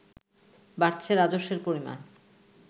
বাড়ছে রাজস্বের পরিমাণ